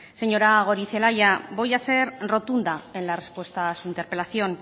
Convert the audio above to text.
señora goirizelaia voy a ser rotunda en la respuesta a su interpelación